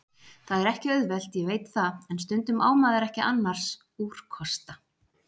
Það er ekki auðvelt, ég veit það, en stundum á maður ekki annars úrkosta.